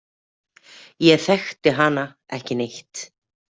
Ég þekkti hana ekki neitt.